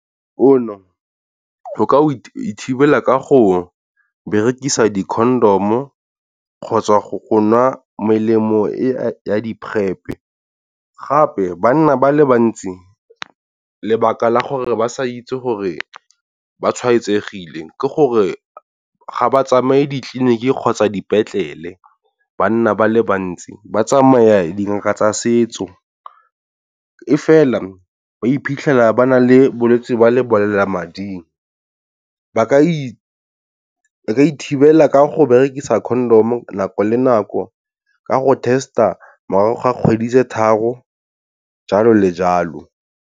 O ka thibela ka go berekisa di-condom kgotsa go go nwa melemo ya di-prep, gape banna ba le bantsi lebaka la gore ba sa itse gore ba tshwaetsegile ke gore ga ba tsamaye ditleliniki kgotsa dipetlele. Banna ba le bantsi ba tsamaya dingaka tsa setso, e fela ba iphitlhela ba nang le bolwetse jwa lebolelamading, ba ka ithibela ka go berekisa condom nako le nako ka go test-a morago ga kgwedi tse tharo jalo le jalo.